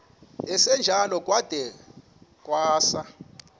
esinjalo kwada kwasa